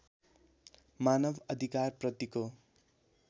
मानव अधिकारप्रतिको